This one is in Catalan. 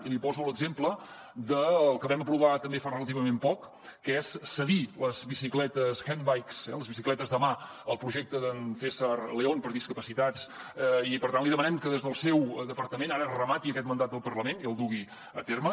i li poso l’exemple del que vam aprovar també fa relativament poc que és cedir les bicicletes handbike les bicicletes de mà al projecte d’en césar león per a discapacitats i per tant li demanem que des del seu departament ara remati aquest mandat del parlament i el dugui a terme